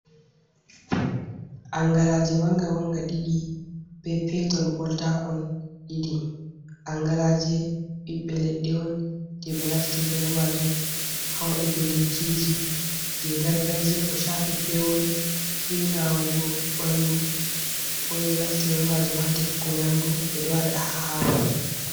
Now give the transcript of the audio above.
Angalaaje mannga mannga ɗiɗi, be peeton ɓoltakon ɗiɗi. Angalaaje ɓiɓɓe leɗɗe on, jey ɓe naftirta be maajum haa waɗugo lekkiji, jey gargajiya ko caafi peewol, be nawugo ɓanndu. Ɓe ɗo naftira be maajum haa defugo nyamdu, ɓe ɗo waɗa haa haako.